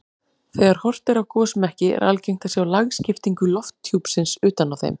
Þegar horft er á gosmekki er algengt að sjá lagskiptingu lofthjúpsins utan á þeim.